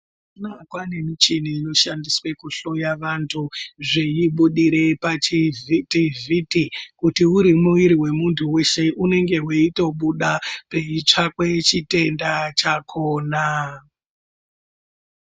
Mazuwa anaya kwaane michini inoshandiswa kuhloya vantu zveibudire pachivhitivhiti, kuti uri muiri wemuntu weshe unenge weitobuda peitsvakwe chitenda chakhona.